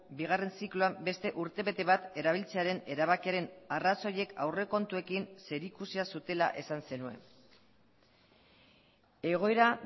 bigarren zikloan beste urtebete bat erabiltzearen erabakiaren arrazoiek aurrekontuekin zerikusia zutela esan zenuen egoera